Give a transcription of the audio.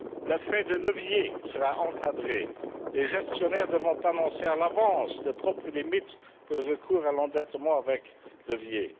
L'effet de levier sera encadré, les gestionnaires devant annoncer à l'avance leurs propres limites pour le recours à l'endettement avec levier.